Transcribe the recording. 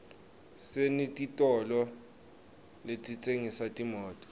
senetitolo letitsengisa timoto